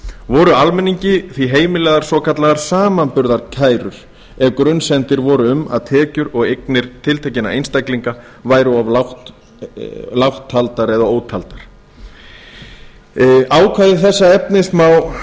voru almenningi því heimilaðar svokallaðar samanburðarkærur ef grunsemdir voru um að tekjur og eignir tiltekinna einstaklinga væru of lágt taldar eða ótaldar ákvæði þessa efnis